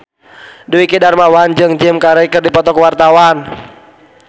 Dwiki Darmawan jeung Jim Carey keur dipoto ku wartawan